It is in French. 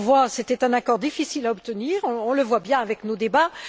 C'était un accord difficile à obtenir, on le voit bien avec nos débats.